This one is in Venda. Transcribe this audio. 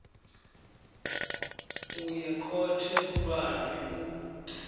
u ya khothe khulwane u